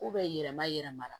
yɛlɛma yɛlɛma la